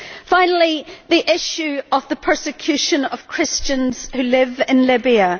Finally, the issue of the persecution of Christians who live in Libya.